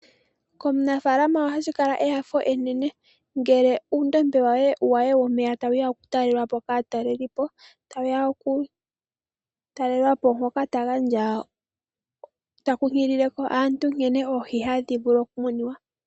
Komunafaalama ohashi kala enyanyu enene ngele uundombe we womeya tawuya okutalelwapo kaatalelipo. Moka tankunkilile aantu nkene oohi hadhi vulu okumunwa.